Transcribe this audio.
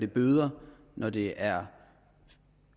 bøder når det er